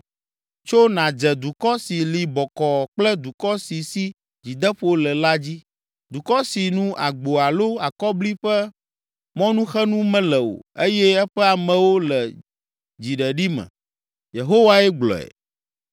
“Tso nàdze dukɔ si li bɔkɔɔ kple dukɔ si si dzideƒo le la dzi. Dukɔ si nu agbo alo akɔbli ƒe mɔnuxenu mele o eye eƒe amewo le dziɖeɖi me.” Yehowae gblɔe.